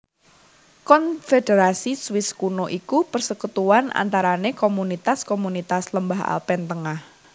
Konfederasi Swiss Kuno iku persekutuan antarane komunitas komunitas lembah Alpen tengah